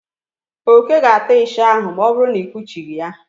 Oke ga-ata ịsha ahụ ma ọ bụrụ na ị kpuchị ya.